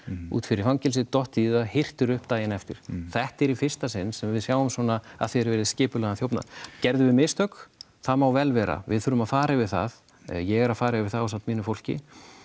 út fyrir fangelsi dottið í það hirtir upp daginn eftir þetta er í fyrsta sinn sem við sjáum svona að því er virðist skipulagðan þjófnað gerðum við mistök það má vel vera við þurfum að fara yfir það ég er að fara yfir það ásamt mínu fólki